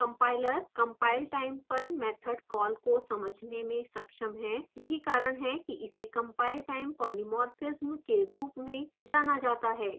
compiler compilertime पर method call को समझने में सक्षम है यही कारण है कि इसे compile time polymorphism के रूप में जाना जाता है